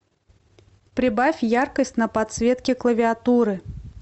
прибавь яркость на подсветке клавиатуры